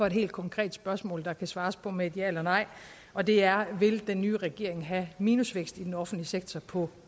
et helt konkret spørgsmål som der kan svares på med et ja eller nej og det er vil den nye regering have minusvækst i den offentlige sektor på